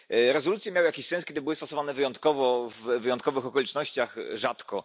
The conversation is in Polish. Rezolucje miały jakiś sens, kiedy były stosowane wyjątkowo, w wyjątkowych okolicznościach, rzadko.